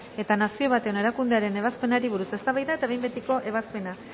eta nazio batuen erakundearen ebazpenari buruz eztabaida eta behin betiko ebazpena